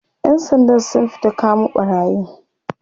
ƴan Sandan sun fita kamo ɓarayin